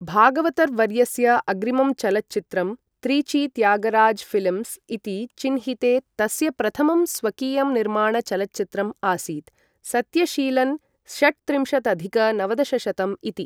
भागवतर् वर्यस्य अग्रिमं चलच्चित्रं त्रिची त्यागराज फ़िल्म्स् इति चिह्निते तस्य प्रथमं स्वकीयं निर्माण चलच्चित्रम् आसीत्, सत्यशीलन् षट्त्रिंशदधिक नवदशशतं इति।